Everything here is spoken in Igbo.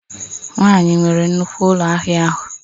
Nwanyị nwere nnukwu ụlọ ahịa ahụ